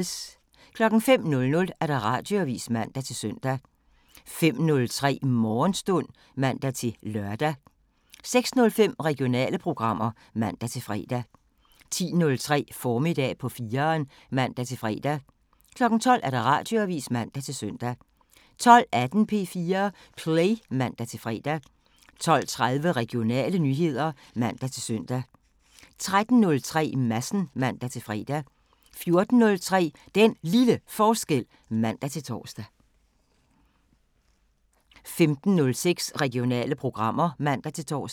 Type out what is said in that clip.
05:00: Radioavisen (man-søn) 05:03: Morgenstund (man-lør) 06:05: Regionale programmer (man-fre) 10:03: Formiddag på 4'eren (man-fre) 12:00: Radioavisen (man-søn) 12:18: P4 Play (man-fre) 12:30: Regionale nyheder (man-søn) 13:03: Madsen (man-fre) 14:03: Den Lille Forskel (man-tor) 15:06: Regionale programmer (man-tor)